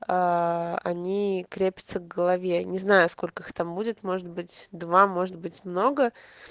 они крепятся к голове не знаю сколько их там будет может быть два может быть много